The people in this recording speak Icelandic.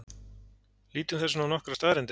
Lítum þess vegna á nokkrar staðreyndir.